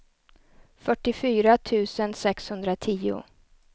fyrtiofyra tusen sexhundratio